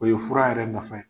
O ye fura yɛrɛ nafa ye.